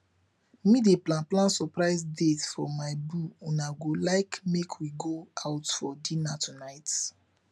medey plan plan surprise date for my boo una go like make we go out for dinner tonight